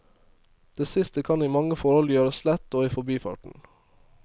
Det siste kan i mange forhold gjøres lett og i forbifarten.